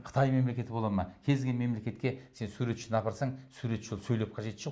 қытай мемлекеті бола ма кез келген мелекетке сен суретшіні апарсаң суретші болып сөйлеп қажеті жоқ